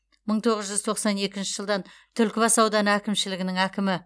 мың тоғыз тоқсан екінші жылдан түлкібас ауданы әкімшілігінің әкімі